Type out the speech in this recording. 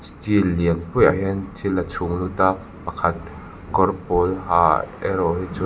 chill lianpuiah hian thil a chhung lut a pakhat kawr pawl ha erawh hi chuan --